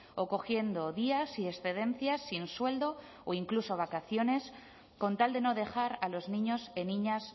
o cogiendo días y excedencias sin sueldo o incluso vacaciones con tal de no dejar a los niños y niñas